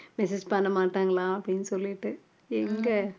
message பண்ண மாட்டாங்களா அப்படின்னு சொல்லிட்டு எங்க